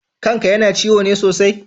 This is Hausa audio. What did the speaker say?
Kan ka yana ciwo ne sosai?